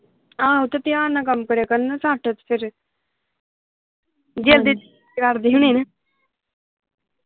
ਆਹੋ ਤੇ ਧਿਆਨ ਨਾਲ ਕੰਮ ਕਰਿਆ ਕਰਨ ਨਾ ਝੱਟ ਫੇਰ